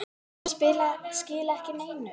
Sum skila ekki neinu.